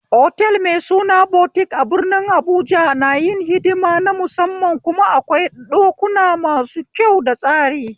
Otal mai suna butik a birnin habuja na yin hidima na musamman kuma akwai ɗukuna masu kyau da tsari